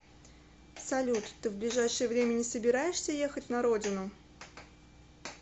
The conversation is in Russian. салют ты в ближайшее время не собираешься ехать на родину